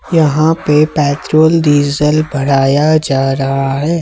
यहां पे petrol diesel भराया जा रहा है।